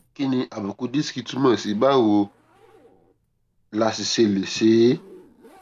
kí ni àbùkù disiki túmò sí báwo la sì ṣe lè ṣe é